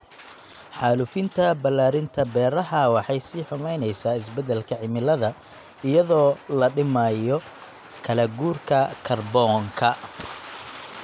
Xaalufinta balaarinta beeraha waxay sii xumaynaysaa isbeddelka cimilada iyadoo la dhimayo kala-guurka kaarboonka.